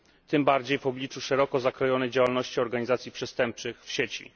Tym bardziej w obliczu szeroko zakrojonej działalności organizacji przestępczych w sieci.